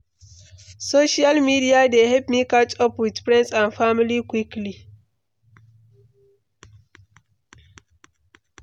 Social media dey help me catch up with friends and family quickly.